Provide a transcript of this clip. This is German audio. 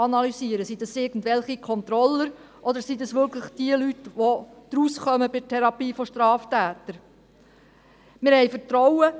Sind dies irgendwelche Controller, oder sind es diejenigen Leute, die von der Therapie von Straftätern wirklich etwas verstehen?